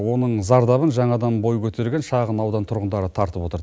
оның зардабын жаңадан бой көтерген шағын аудан тұрғындары тартып отыр